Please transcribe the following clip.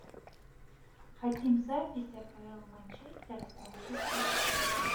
хотим запись апл манчестера с манчестер сити